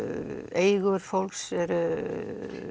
eigur fólks eru